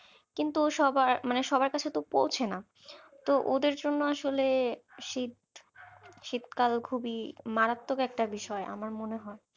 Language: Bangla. এই কিন্তু সবার মানে সবার কাছে তো পৌঁছে না তো ওদের জন্য আসলে শীত শীত কাল খুবই মারাত্মক একটা বিষয় আমার মনে হয়